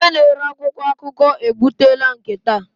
Onye na-ere akwụkwọ akụkọ ebutela nke taa.